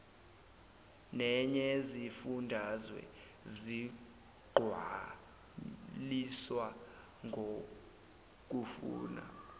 neyezifundazwe zigcwaliswa ngokufuna